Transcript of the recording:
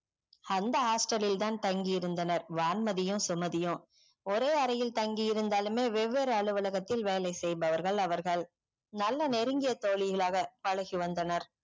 அந்த hostel லில் தான் தங்கி இருந்தனர். வான்மதியும் சுமதியும் ஒரே அறையில் தங்கி இருந்தாலுமே வெவ்வேறு அலுவலகத்தில் வேலை செய்பவர்கள் அவர்கள் நல்ல நெருங்கிய தோழிகளாக பழகி வந்தனர்.